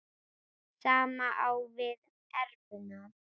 Sama á við um evruna.